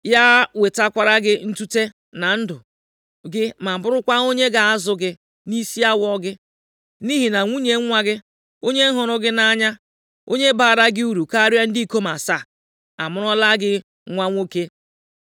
Ya wetakwara gị ntute na ndụ gị ma bụrụkwa onye ga-azụ gị nʼisi awọ gị. Nʼihi na nwunye nwa gị, onye hụrụ gị nʼanya, onye baara gị uru karịa ndị ikom asaa, amụọrala gị nwa nwoke.”